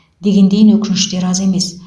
дегендейін өкініштер аз емес